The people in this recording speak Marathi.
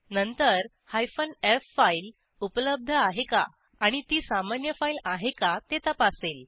नंतर एफ फाईल उपलब्ध आहे का आणि ती सामान्य फाईल आहे का ते तपासेल